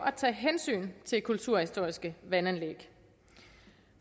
at tage hensyn til kulturhistoriske vandanlæg